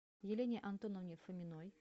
елене антоновне фоминой